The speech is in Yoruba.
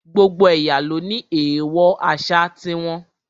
Gbogbo ẹ̀yà ló ní èèwọ̀ àṣà ti wọn